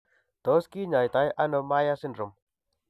Tos kinyaito ano Myhre syndrome